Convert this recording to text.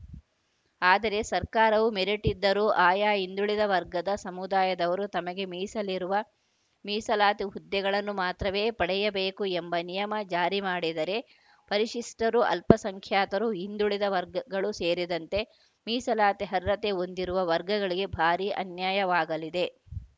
ಆದರೆ ಸರ್ಕಾರವು ಮೆರಿಟ್‌ ಇದ್ದರೂ ಆಯಾ ಹಿಂದುಳಿದ ವರ್ಗದ ಸಮುದಾಯದವರು ತಮಗೆ ಮೀಸಲಿರುವ ಮೀಸಲಾತಿ ಹುದ್ದೆಗಳನ್ನು ಮಾತ್ರವೇ ಪಡೆಯಬೇಕು ಎಂಬ ನಿಯಮ ಜಾರಿ ಮಾಡಿದರೆ ಪರಿಶಿಷ್ಟರು ಅಲ್ಪಸಂಖ್ಯಾತರು ಹಿಂದುಳಿದ ವರ್ಗಗಳು ಸೇರಿದಂತೆ ಮೀಸಲಾತಿ ಅರ್ಹತೆ ಹೊಂದಿರುವ ವರ್ಗಗಳಿಗೆ ಭಾರಿ ಅನ್ಯಾಯವಾಗಲಿದೆ